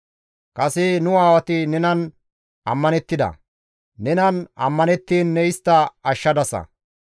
Kase nu aawati nenan ammanettida; nenan ammanettiin ne istta ashshadasa.